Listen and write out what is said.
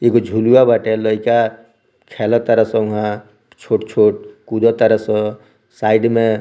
एगो झुलवा बाटे लईका खेलतारे सन उहाँ छोट-छोट कुदत तारे सन साइड में।